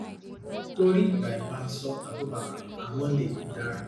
tori by mansur abubakar and monday idara